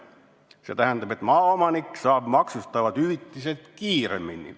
" See tähendab, et maaomanik saab makstavad hüvitised kiiremini.